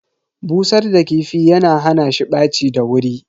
Busar da kifi yana hana shi ɓaci da wuri.